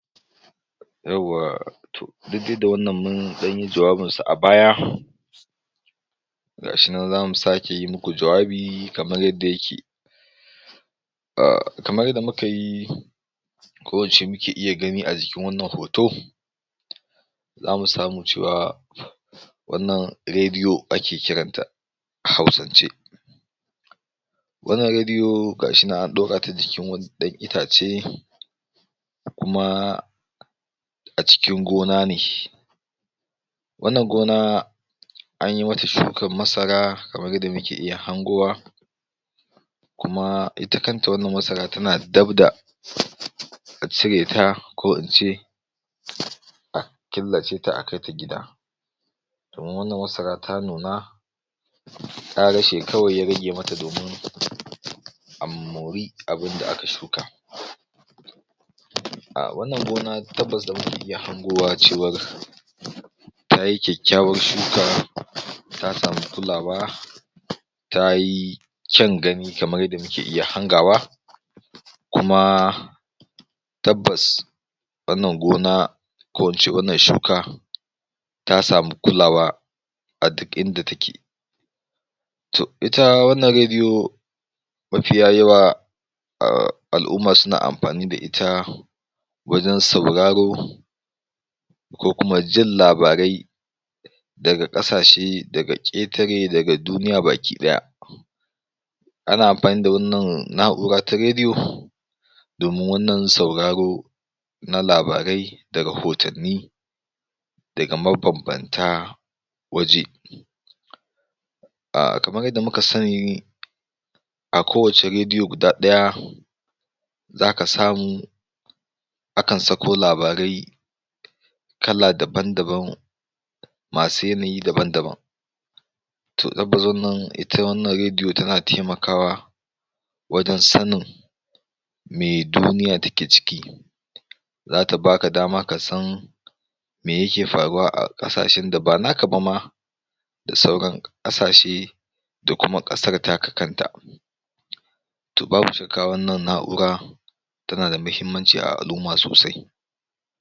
Yawwa to duk dai da wanna mun ɗan yi wato jawabinsa a baya, gashi nan za mu sake muku jawabi kamar yadda yake ah kamar yadda muka yi ko ince muke iya gani a jikin wannan hoto zamu samu cewa, wannan rediyo ake kiranta a huausance. Wannan rediyo gashi nan an ɗorata akan jikin wani ɗan itace, kuma a cikin gonane. Wannan gona, anyi wata shukar masara kamar yadda muke iya hangowa, kuma ita kanta wannan masara tana dab da a cireta ko in ce, a killace ta a kaita gida, domin wannan masara ta nuna ƙarashe kawai ya rage mata domin a mori abunda aka shuka. A wannan gona tabbas zamu iya hangowa cewar tayi kyakkyawar shuka ta samu kulawa, tayi kyan gani kamar yadda muke iya hangawa, kuma tabbas wannan gona ko in ce wannan shuka, ta samu kulawa, a duk inda take. To ita wannan rediyo, mafiya yawa ahh al'umma suna amfani da ita wajen sauraro ku kuma jin labarai daga ƙasashe daga ƙetare daga duniya baki ɗaya. Ana amfani da wannan na'ura ta rediyo domin wannan sauraro na labarai da rahotanni daga mabanbanta waje. Ahh kamar yadda muka sani, a kowacce rediyo guda ɗaya, za ka samu, akan sako labarai, kala dabam-dabam, masu yanayi dabam-dabam. To tabbas wannan, ita wannan rediyo tana taimakwa wajern sanin me duniya take ciki, zata baka dama kasan me yake faruwa a ƙasashen da ba naka ba, da sauran ƙasashe, da kuma ƙasar taka ta kanka. To babu shakka wannan na'ura tana da muhimmanci a al'umma sosai.